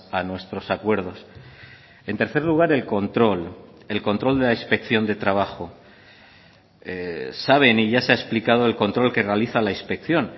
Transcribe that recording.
a nuestros acuerdos en tercer lugar el control el control de la inspección de trabajo saben y ya se ha explicado el control que realiza la inspección